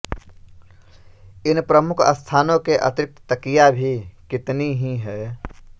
इन प्रमुख स्थानों के अतिरिक्त तकिया भी कितनी ही हैं